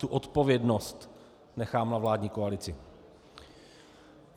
Tu odpovědnost nechám na vládní koalici.